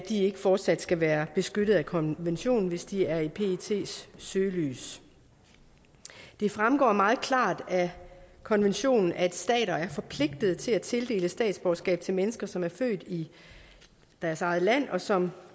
ikke fortsat skal være beskyttet af konventionen hvis de er i pets søgelys det fremgår meget klart af konventionen at stater er forpligtet til at tildele statsborgerskab til mennesker som er født i deres eget land og som